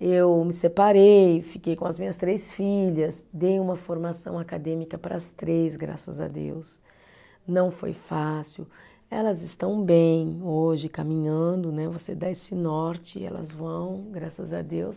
Eu me separei, fiquei com as minhas três filhas dei uma formação acadêmica para as três, graças a Deus, não foi fácil. Elas estão bem hoje, caminhando né, você dá esse norte e elas vão graças a Deus